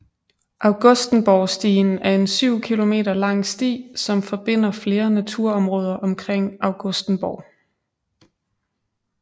Augustenborgstien er en 7 km lang sti som forbinder flere naturområder omkring Augustenborg